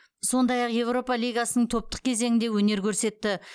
сондай ақ еуропа лигасының топтық кезеңінде өнер көрсетті